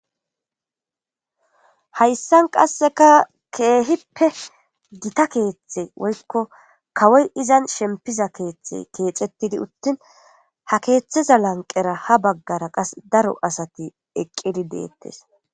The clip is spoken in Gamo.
Hayssan qasseka keehippe gita keeththe woykko kawoy izan shempiza keeththe keexettidi uttin ha keeththeza lanqera ha baggara qas daro asati eqqidi deettes.